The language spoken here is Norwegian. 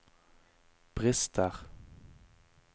brister